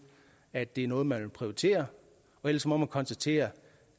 at det er noget man vil prioritere ellers må man konstatere